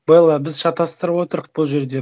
белла біз шатастырып отырық бұл жерде